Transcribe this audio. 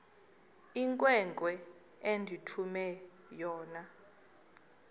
inkwenkwe endithume yona